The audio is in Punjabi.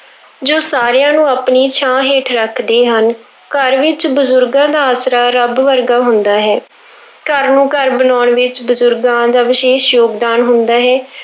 ਜੋ ਸਾਰਿਆਂ ਨੂੰ ਆਪਣੀ ਛਾਂ ਹੇਠ ਰੱਖਦੇ ਹਨ, ਘਰ ਵਿੱਚ ਬਜ਼ੁਰਗਾਂ ਦਾ ਆਸਰਾ ਰੱਬ ਵਰਗਾ ਹੁੰਦਾ ਹੈ ਘਰ ਨੂੰ ਘਰ ਬਣਾਉਣ ਵਿੱਚ ਬਜ਼ੁਰਗਾਂ ਦਾ ਵਿਸ਼ੇਸ਼ ਯੋਗਦਾਨ ਹੁੰਦਾ ਹੈ।